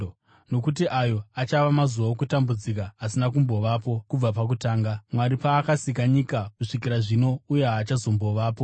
nokuti ayo achava mazuva okutambudzika asina kumbovapo kubva pakutanga, Mwari paakasika nyika, kusvikira zvino, uye haachazombovapozve.